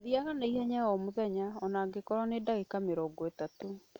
Thiaga na ihenya o mũthenya, o na angĩkorũo nĩ ndagĩka mĩrongo ĩtatũ.